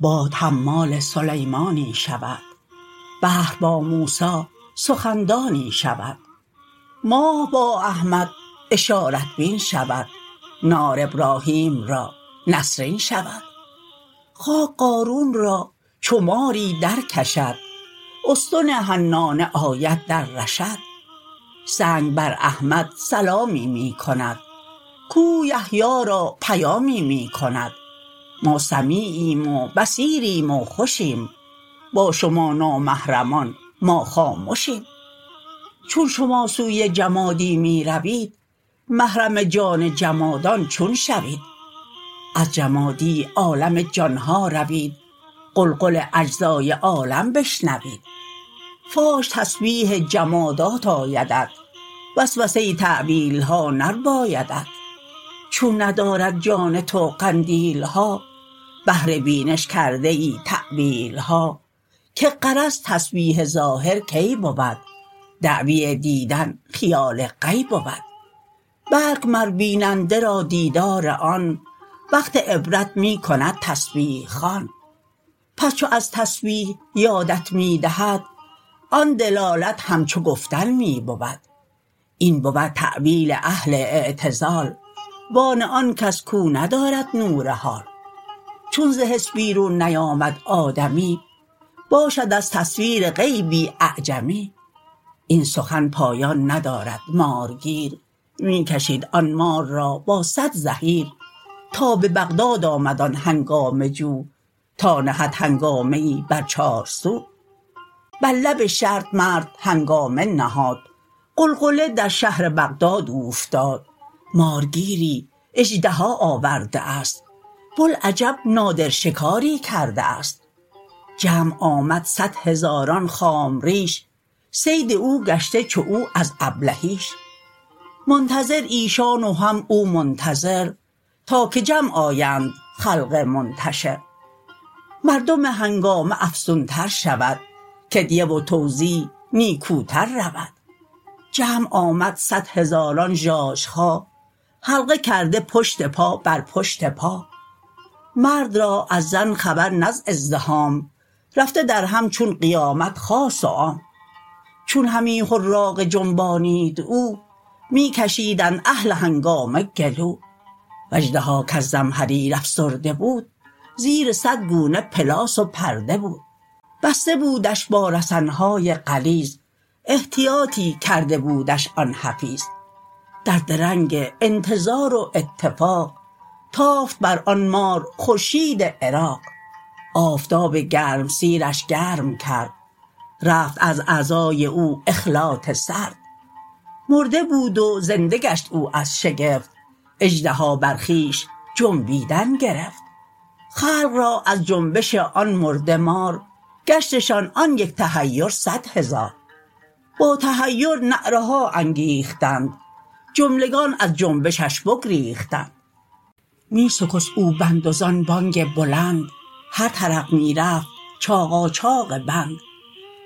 یک حکایت بشنو از تاریخ گوی تا بری زین راز سرپوشیده بوی مارگیری رفت سوی کوهسار تا بگیرد او به افسون هاش مار گر گران و گر شتابنده بود آنک جوینده ست یابنده بود در طلب زن دایما تو هر دو دست که طلب در راه نیکو رهبر ست لنگ و لوک و خفته شکل و بی ادب سوی او می غیژ و او را می طلب گه به گفت و گه به خاموشی و گه بوی کردن گیر هر سو بوی شه گفت آن یعقوب با اولاد خویش جستن یوسف کنید از حد بیش هر حس خود را درین جستن به جد هر طرف رانید شکل مستعد گفت از روح خدا لاتیأسوا همچو گم کرده پسر رو سو به سو از ره حس دهان پرسان شوید گوش را بر چار راه آن نهید هر کجا بوی خوش آید بو برید سوی آن سر کاشنای آن سرید هر کجا لطفی ببینی از کسی سوی اصل لطف ره یابی عسی این همه خوش ها ز دریایی ست ژرف جزو را بگذار و بر کل دار طرف جنگ های خلق بهر خوبی است برگ بی برگی نشان طوبی است خشم های خلق بهر آشتی ست دام راحت دایما بی راحتی ست هر زدن بهر نوازش را بود هر گله از شکر آگه می کند بوی بر از جزو تا کل ای کریم بوی بر از ضد تا ضد ای حکیم جنگ ها می آشتی آرد درست مارگیر از بهر یاری مار جست بهر یاری مار جوید آدمی غم خورد بهر حریف بی غمی او همی جستی یکی ماری شگرف گرد کوهستان و در ایام برف اژدهایی مرده دید آنجا عظیم که دلش از شکل او شد پر ز بیم مارگیر اندر زمستان شدید مار می جست اژدهایی مرده دید مارگیر از بهر حیرانی خلق مار گیرد اینت نادانی خلق آدمی کوهی ست چون مفتون شود کوه اندر مار حیران چون شود خویشتن نشناخت مسکین آدمی از فزونی آمد و شد در کمی خویشتن را آدمی ارزان فروخت بود اطلس خویش بر دلقی بدوخت صد هزاران مار و که حیران اوست او چرا حیران شده ست و مار دوست مارگیر آن اژدها را برگرفت سوی بغداد آمد از بهر شگفت اژدهایی چون ستون خانه ای می کشیدش از پی دانگانه ای کاژدهای مرده ای آورده ام در شکارش من جگرها خورده ام او همی مرده گمان بردش ولیک زنده بود و او ندیدش نیک نیک او ز سرما ها و برف افسرده بود زنده بود و شکل مرده می نمود عالم افسرده ست و نام او جماد جامد افسرده بود ای اوستاد باش تا خورشید حشر آید عیان تا ببینی جنبش جسم جهان چون عصای موسی اینجا مار شد عقل را از ساکنان اخبار شد پاره خاک تو را چون مرد ساخت خاک ها را جملگی شاید شناخت مرده زین سو اند و زان سو زنده اند خامش اینجا و آن طرف گوینده اند چون از آن سوشان فرستد سوی ما آن عصا گردد سوی ما اژدها کوهها هم لحن داودی کند جوهر آهن به کف مومی بود باد حمال سلیمانی شود بحر با موسی سخن دانی شود ماه با احمد اشارت بین شود نار ابراهیم را نسرین شود خاک قارون را چو ماری درکشد استن حنانه آید در رشد سنگ بر احمد سلامی می کند کوه یحیی را پیامی می کند ما سمیعیم و بصیریم و خوشیم با شما نامحرمان ما خامشیم چون شما سوی جمادی می روید محرم جان جمادان چون شوید از جمادی عالم جانها روید غلغل اجزای عالم بشنوید فاش تسبیح جمادات آیدت وسوسه ی تاویلها نربایدت چون ندارد جان تو قندیل ها بهر بینش کرده ای تاویل ها که غرض تسبیح ظاهر کی بود دعوی دیدن خیال غی بود بلک مر بیننده را دیدار آن وقت عبرت می کند تسبیح خوان پس چو از تسبیح یادت می دهد آن دلالت همچو گفتن می بود این بود تاویل اهل اعتزال و آن آنکس کو ندارد نور حال چون ز حس بیرون نیامد آدمی باشد از تصویر غیبی اعجمی این سخن پایان ندارد مارگیر می کشید آن مار را با صد زحیر تا به بغداد آمد آن هنگامه جو تا نهد هنگامه ای بر چارسو بر لب شط مرد هنگامه نهاد غلغله در شهر بغداد اوفتاد مارگیری اژدها آورده است بوالعجب نادر شکاری کرده است جمع آمد صد هزاران خام ریش صید او گشته چو او از ابلهیش منتظر ایشان و هم او منتظر تا که جمع آیند خلق منتشر مردم هنگامه افزون تر شود کدیه و توزیع نیکوتر رود جمع آمد صد هزاران ژاژخا حلقه کرده پشت پا بر پشت پا مرد را از زن خبر نه ز ازدحام رفته درهم چون قیامت خاص و عام چون همی حراقه جنبانید او می کشیدند اهل هنگامه گلو و اژدها کز زمهریر افسرده بود زیر صد گونه پلاس و پرده بود بسته بودش با رسن های غلیظ احتیاطی کرده بودش آن حفیظ در درنگ انتظار و اتفاق تافت بر آن مار خورشید عراق آفتاب گرمسیر ش گرم کرد رفت از اعضای او اخلاط سرد مرده بود و زنده گشت او از شگفت اژدها بر خویش جنبیدن گرفت خلق را از جنبش آن مرده مار گشتشان آن یک تحیر صد هزار با تحیر نعره ها انگیختند جملگان از جنبشش بگریختند می سکست او بند و زان بانگ بلند هر طرف می رفت چاقاچاق بند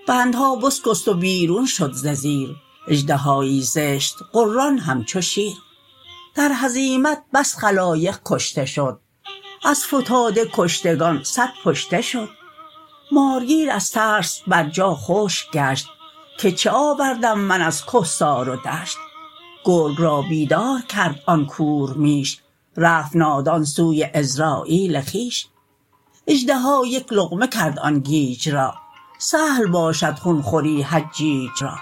بندها بسکست و بیرون شد ز زیر اژدهایی زشت غران همچو شیر در هزیمت بس خلایق کشته شد از فتاده کشتگان صد پشته شد مارگیر از ترس بر جا خشک گشت که چه آوردم من از کهسار و دشت گرگ را بیدار کرد آن کور میش رفت نادان سوی عزراییل خویش اژدها یک لقمه کرد آن گیج را سهل باشد خون خوری حجیج را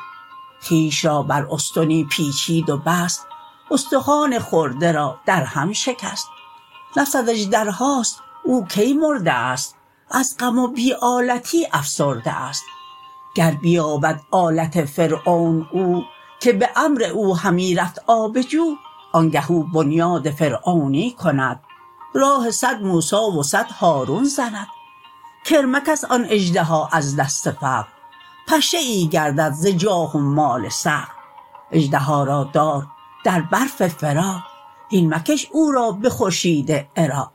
خویش را بر استنی پیچید و بست استخوان خورده را در هم شکست نفست اژدرهاست او کی مرده است از غم و بی آلتی افسرده است گر بیابد آلت فرعون او که به امر او همی رفت آب جو آنگه او بنیاد فرعونی کند راه صد موسی و صد هارون زند کرمک است آن اژدها از دست فقر پشه ای گردد ز جاه و مال صقر اژدها را دار در برف فراق هین مکش او را به خورشید عراق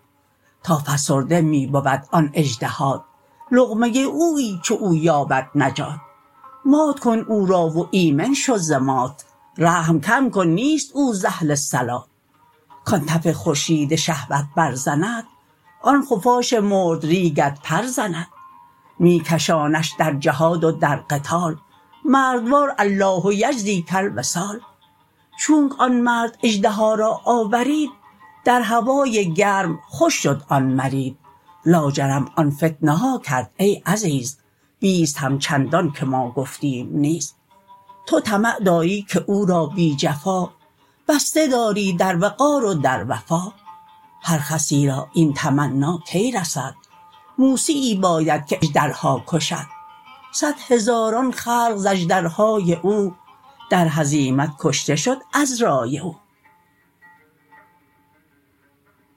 تا فسرده می بود آن اژدهات لقمه اویی چو او یابد نجات مات کن او را و ایمن شو ز مات رحم کم کن نیست او ز اهل صلات کان تف خورشید شهوت برزند آن خفاش مردریگت پر زند می کشانش در جهاد و در قتال مردوار الله یجزیک الوصال چونک آن مرد اژدها را آورید در هوای گرم خوش شد آن مرید لاجرم آن فتنه ها کرد ای عزیز بیست همچندان که ما گفتیم نیز تو طمع داری که او را بی جفا بسته داری در وقار و در وفا هر خسی را این تمنی کی رسد موسیی باید که اژدرها کشد صد هزاران خلق ز اژدرهای او در هزیمت کشته شد از رای او